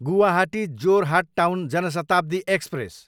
Guwahati, Jorhat town Jan Shatabdi express